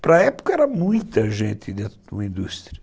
Para a época era muita gente dentro de uma indústria.